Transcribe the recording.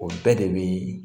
O bɛɛ de bi